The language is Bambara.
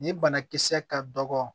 Nin banakisɛ ka dɔgɔ